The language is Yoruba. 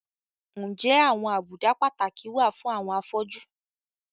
Ǹjẹ́ àwọn àbùdá pàtàkì wà fún àwọn afọ́jú?